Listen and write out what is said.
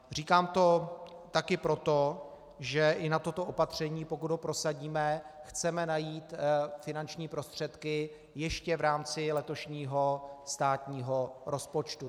Říkám to také proto, že i na toto opatření, pokud ho prosadíme, chceme najít finanční prostředky ještě v rámci letošního státního rozpočtu.